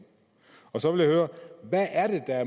så vil jeg høre hvad er det der